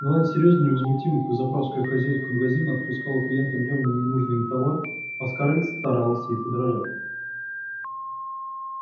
мелани серьёзно и невозмутимо как заправская хозяйка магазина отпускала клиентам явно ненужный им товар а скарлетт старалась ей подражать